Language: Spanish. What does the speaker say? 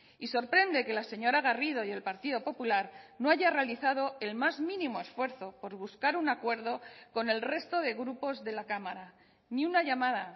y sorprende que la señora garrido y el partido popular no haya realizado el más mínimo esfuerzo por buscar un acuerdo con el resto de grupos de la cámara ni una llamada